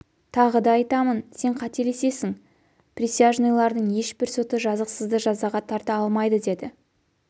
тағы да айтамын сен қателесесің присяжныйлардың ешбір соты жазықсызды жазаға тарта алмайды деді